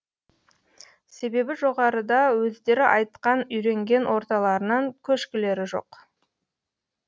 себебі жоғарыда өздері айтқан үйренген орталарынан көшкілері жоқ